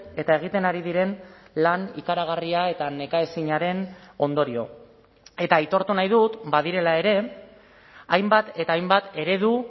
eta egiten ari diren lan ikaragarria eta nekaezinaren ondorio eta aitortu nahi dut badirela ere hainbat eta hainbat eredu